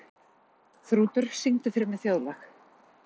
Þrútur, syngdu fyrir mig „Þjóðlag“.